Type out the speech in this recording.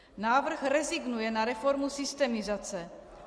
Návrh rezignuje na reformu systemizace.